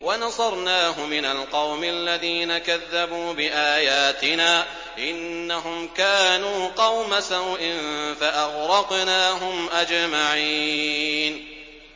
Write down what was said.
وَنَصَرْنَاهُ مِنَ الْقَوْمِ الَّذِينَ كَذَّبُوا بِآيَاتِنَا ۚ إِنَّهُمْ كَانُوا قَوْمَ سَوْءٍ فَأَغْرَقْنَاهُمْ أَجْمَعِينَ